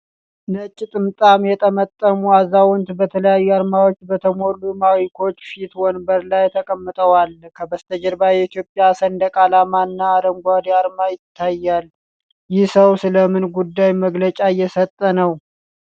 ነጭ ጥምጣም የጠመጠሙ አዛውንት፣ በተለያዩ አርማዎች በተሞሉ ማይኮች ፊት ወንበር ላይ ተቀምጠዋል። ከበስተጀርባው የኢትዮጵያ ሰንደቅ ዓላማ እና አረንጓዴ አርማ ይታያል። ይህ ሰው ስለ ምን ጉዳይ መግለጫ እየሰጠ ነው?